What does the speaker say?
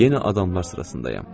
Yenə adamlar sırasındayam.